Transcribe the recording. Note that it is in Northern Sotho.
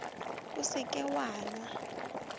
o se ke wa nwa